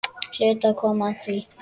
Hlaut að koma að því.